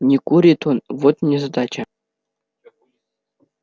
не курит он вот незадача